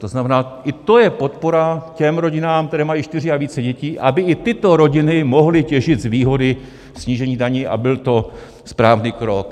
To znamená, i to je podpora těm rodinám, které mají čtyři a více dětí, aby i tyto rodiny mohly těžit z výhody snížení daní a byl to správný krok.